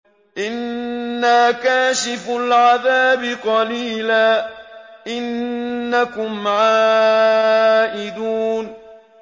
إِنَّا كَاشِفُو الْعَذَابِ قَلِيلًا ۚ إِنَّكُمْ عَائِدُونَ